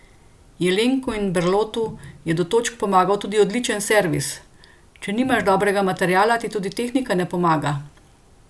Jelenku in Berlotu je do točk pomagal tudi odličen servis: "Če nimaš dobrega materiala, ti tudi tehnika ne pomaga.